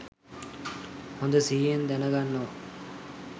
හොඳ සිහියෙන් දැනගන්නවා